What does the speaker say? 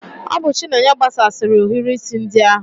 Ọ bụ chinenye gbasasịri ohiri isi ndi ahu